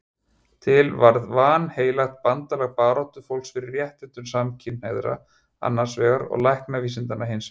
Til varð vanheilagt bandalag baráttufólks fyrir réttindum samkynhneigðra annars vegar og læknavísindanna hins vegar.